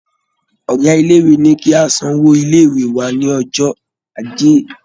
Ọ̀gá ilé-ìwé ní kí a san owó ilé-ìwé wa ní ọjọ́ Ajé.